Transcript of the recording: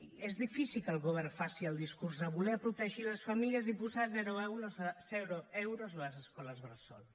i és difícil que el govern faci el discurs de voler protegir les famílies i posar zero euros a les escoles bressol